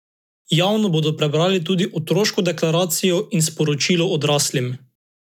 Javno bodo prebrali tudi otroško deklaracijo in sporočilo odraslim.